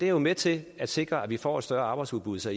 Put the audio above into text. jo med til at sikre at vi får et større arbejdsudbud så